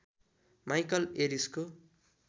Michael एरिसको